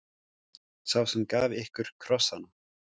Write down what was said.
Sá sem gaf ykkur krossana.